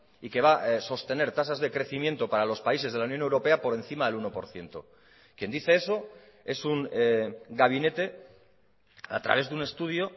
y que va a sostener tasas de crecimiento para los países de la unión europea por encima del uno por ciento quien dice eso es un gabinete a través de un estudio